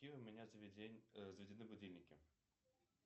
какие у меня заведены будильники